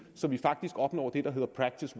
så vi faktisk opnår det der hedder practice